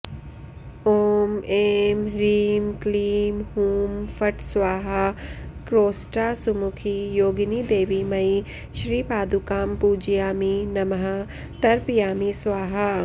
ॐ ऐं ह्रीं क्लीं हूं फट् स्वाहा क्रोष्टासुमुखी योगिनिदेवीमयी श्रीपादुकां पूजयामि नमः तर्पयामि स्वाहा